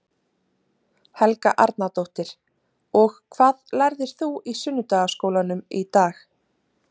Helga Arnardóttir: Og hvað lærðir þú í sunnudagaskólanum í dag?